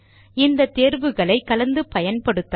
இந்த தேர்வுகளை கலந்து பயன்படுத்தலாம்